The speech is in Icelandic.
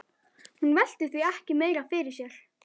Hún velti því ekki meira fyrir sér.